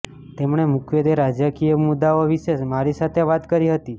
તેમણે મુખ્યત્વે રાજકીય મુદ્દાઓ વિશે મારી સાથે વાત કરી હતી